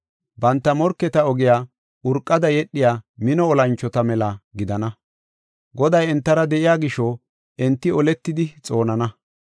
Banta morketa ogiya urqada yedhiya mino olanchota mela gidana. Goday entara de7iya gisho, enti oletidi xoonana.